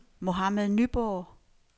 Mohammad Nyborg